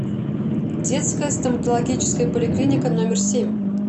детская стоматологическая поликлиника номер семь